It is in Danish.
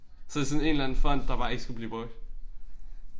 Så det sådan en eller anden font der bare ikke skulle blive brugt